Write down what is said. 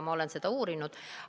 Ma olen seda uurinud.